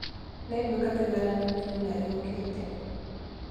Nĩngwĩka kĩgeranio kiumia gĩũkĩte.